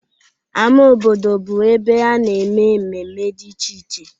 Ama obodo bụ ebe a na-eme mmemme dị iche iche.